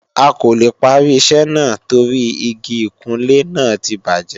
A kò lè parí iṣẹ́ náà torí Igi ìkunlé náà ti bàjẹ́